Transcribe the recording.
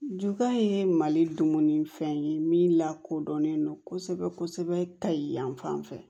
Jukan ye mali dumuni fɛn ye min lakodɔnnen don kosɛbɛ kosɛbɛ ka ye yan fan fɛ